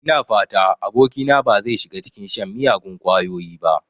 Ina fata abokina ba zai shiga cikin shan miyagun ƙwayoyi ba.